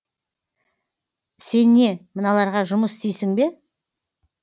сен не мыналарға жұмыс істейсің бе